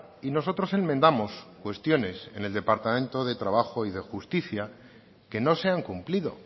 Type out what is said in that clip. y nosotros enmendamos cuestiones en el departamento de trabajo y de justicia que no se han cumplido